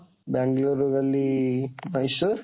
ବାଙ୍ଗାଲୋରରୁ ଗଲି ମହିଶୂର,